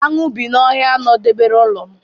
Aṅụ bi na ọhịa nọdebere ụlọ m.